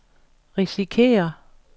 risikerer